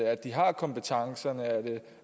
at de har kompetencerne er det